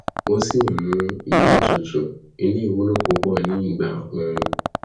ó sì tún nmú ilé tutù eléyìí wúlò púpọ ní ìgbà oru